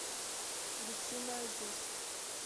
гусиноозерск